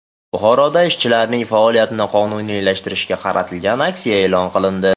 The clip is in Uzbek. Buxoroda ishchilarning faoliyatini qonuniylashtirishga qaratilgan aksiya e’lon qilindi.